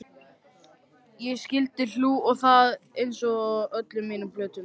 Ég skyldi hlú að þér einsog öllum mínum plöntum.